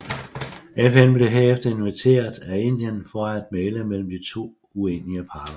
FN blev herefter inviteret af Indien for at mægle mellem de uenige parter